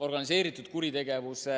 Organiseeritud kuritegevuse